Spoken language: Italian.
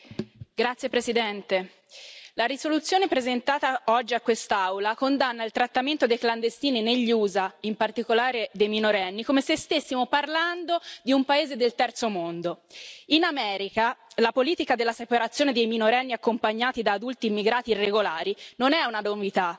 Signora Presidente, onorevoli colleghi, la risoluzione presentata oggi a quest'Aula condanna il trattamento dei clandestini negli USA, in particolare dei minorenni, come se stessimo parlando di un paese del terzo mondo. In America, la politica della separazione dei minorenni accompagnati da adulti immigrati regolari non è una novità.